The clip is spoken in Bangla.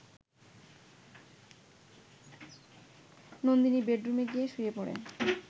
নন্দিনী বেডরুমে গিয়ে শুয়ে পড়ে